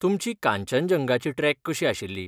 तुमची कांचनजंगाची ट्रेक कशी आशिल्ली?